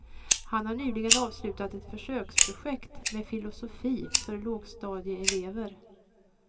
Han har nyligen avslutat ett försöksprojekt med filosofi för lågstadieelever.